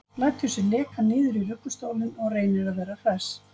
Lætur sig leka niður í ruggustólinn og reynir að vera hress.